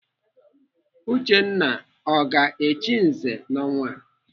Uchenna ọ ga-echi nze n'ọnwa a?